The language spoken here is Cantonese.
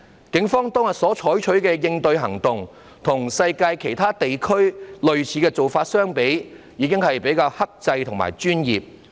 警方當天所採取的應對行動，與世界其他地區的類似做法相比，已經是比較克制和專業。